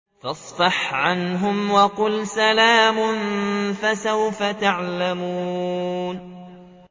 فَاصْفَحْ عَنْهُمْ وَقُلْ سَلَامٌ ۚ فَسَوْفَ يَعْلَمُونَ